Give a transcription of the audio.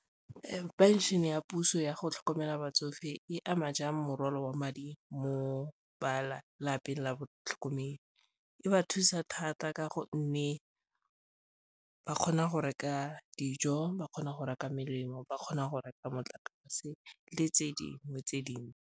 Phenšene ya puso yago tlhokomela batsofe e ama jang morwalo wa madi mo ba lapeng la botlhokomedi? E ba thusa thata ka gonne ba kgona go reka dijo, ba kgona go reka melemo, ba kgona go reka motlakase le tse dingwe tse dintsi.